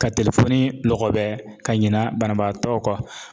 Ka lɔgɔbɛ ka ɲina banabaatɔw kɔ